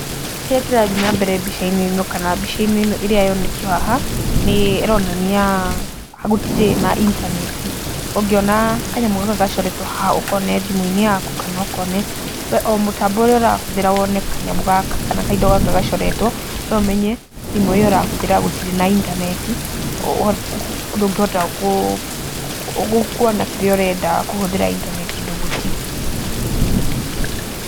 Kĩrĩa kĩrathiĩ na mbere mbica-inĩ ĩno kana mbica-inĩ ĩno yonetio haha, nĩ ĩronania gũtirĩ na intaneti, ũngĩona kanyamũ gaka gacoretwo haha ũkone thimũ-inĩ yaku kana ũkone we o mũtambo ũrĩa ũrahũthĩra wone kanyamũ kana kaindo gaka gacoretwo, we ũmenye thimũ ĩyo ũrahũthĩra gũtirĩ na intaneti, ũguo ndũngĩhota kuona kĩrĩa ũrenda kũhũthĩra intaneti ũndũ gũtirĩ.